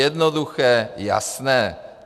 Jednoduché, jasné.